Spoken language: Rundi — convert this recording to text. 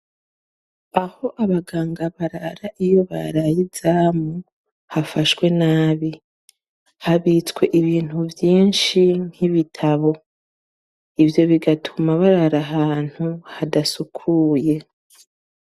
Aho abaganga barara iyo baraye izamu hafashwe nabi ; habitswe ibintu vyinshi nk'ibitabo. Ivyo bigatuma barara ahantu hadasukuye.